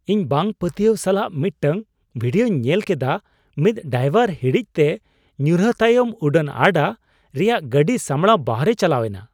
ᱤᱧ ᱵᱟᱝᱼᱯᱟᱹᱛᱭᱟᱹᱣ ᱥᱟᱞᱟᱜ ᱢᱤᱫᱴᱟᱝ ᱵᱷᱤᱰᱤᱭᱳᱧ ᱧᱮᱞ ᱠᱮᱫᱟ ᱢᱤᱫ ᱰᱟᱭᱵᱚᱨᱟᱜ ᱦᱤᱲᱤᱡᱛᱮ ᱧᱩᱨᱦᱟᱹ ᱛᱟᱭᱚᱢ ᱩᱰᱟᱹᱱ ᱟᱰᱟ ᱨᱮᱭᱟᱜᱜᱟᱹᱰᱤ ᱥᱟᱢᱲᱟᱣ ᱵᱟᱦᱨᱮ ᱪᱟᱞᱟᱣ ᱮᱱᱟ ᱾